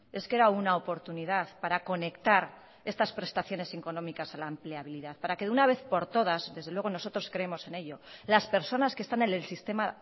es que era una oportunidad para conectar estas prestaciones económicas a la empleabilidad para que de una vez por todas desde luego nosotros creemos en ello las personas que están en el sistema